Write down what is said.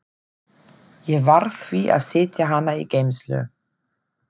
Ég varð því að setja hana í geymslu.